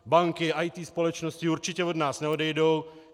Banky, IT společnosti určitě od nás neodejdou.